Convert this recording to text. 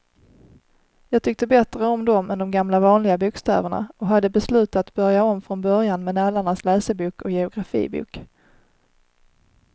Jag tyckte bättre om dem än de gamla vanliga bokstäverna och hade beslutat börja om från början med nallarnas läsebok och geografibok.